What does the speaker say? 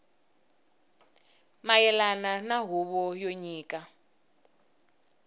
mayelana na huvo yo nyika